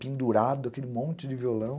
Pendurado, aquele monte de violão.